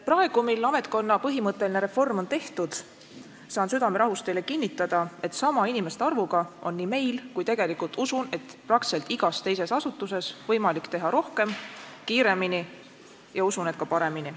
Praegu, mil ametkonna põhimõtteline reform on tehtud, saan südamerahus teile kinnitada, et sama inimeste arvuga on nii meil kui tegelikult usun, et praktiliselt igas teises asutuses võimalik teha rohkem, kiiremini, ja usun, et ka paremini.